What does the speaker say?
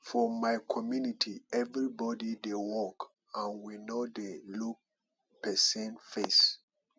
for my community everybody dey work and we no dey look person face